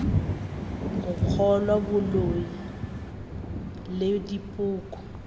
go kgolwa boloi le dipoko